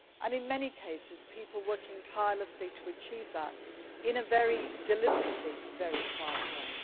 In many cases people work tirelessly to achieve that in a deliberately very quiet way.